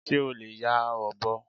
Ṣé o lè ya ọ̀bọ?